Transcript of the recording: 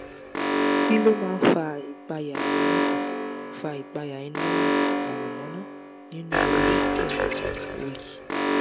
kí ló máa ń fa ìpayà iná fa ìpayà iná mọ̀nàmọ̀nà nínú orí pẹ̀lú òyì?